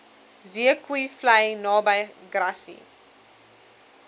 zeekoevlei naby grassy